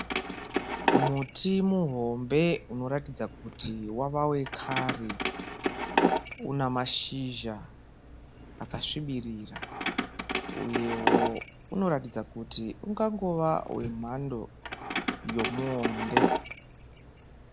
Muti muhombe unoratidza kuti wava wekare, unamashizha akasvibirira uyewo unoratidza kuti ungangove wemhando yemuwonde.